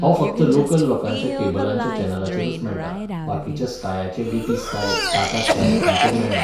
हो फक्त लोकल लोकांच्या कॅबलांच्या चॅनलांचेरूच मेळटा, बाकीच्या स्कायाचे डीटी स्काय, टाटा स्काय हांचेर मेळना.